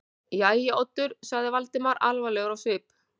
Jæja, Oddur- sagði Valdimar alvarlegur á svip.